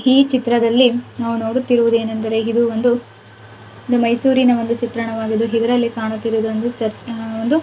ಈ ಚಿತ್ರದಲ್ಲಿ ನಾವು ನೋಡುತ್ತಿರುವುದೆನೆಂದರೆ ಒಂದು ಮೈಸೂರಿನ ಒಂದು ಚಿತ್ರಣವಾಗಿದೆ.